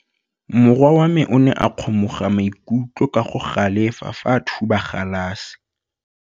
Morwa wa me o ne a kgomoga maikutlo ka go galefa fa a thuba galase.